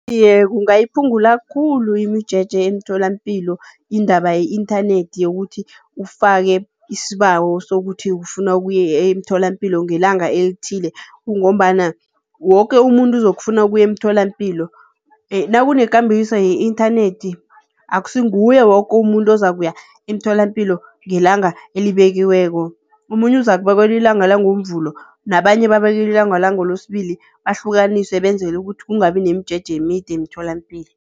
Iye, kungayiphungula khulu imijeje emtholampilo indaba yi-inthanethi, yokuthi ufake isibawo sokuthi ufuna ukuya emtholampilo ngelanga elithile kungombana woke umuntu uzokufuna ukuya emtholampilo. Nakunekambiso ye-inthanethi akusinguye woke umuntu ozako ukuya emtholampilo ngelanga elibekiweko, omunye uzakubekelwa ilanga la ngoMvulo nabanye babekelelwe ilanga langeLesibili, bahlukaniswe benzele ukuthi kungabi nemjeje emide emtholampilo.